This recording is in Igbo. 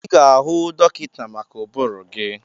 Ị ga-ahụ dọkịta maka ụbụrụ gị.